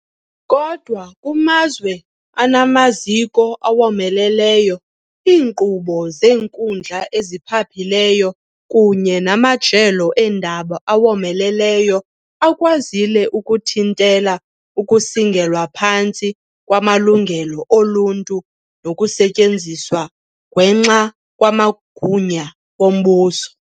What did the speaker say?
Kodwa kumazwe anamaziko awomeleleyo, iinkqubo zeenkundla eziphaphileyo kunye namajelo eendaba awomeleleyo akwazile ukuthintela ukusingelwa phantsi kwamalungelo oluntu nokusetyenziswa gwenxa kwamagunya wombuso.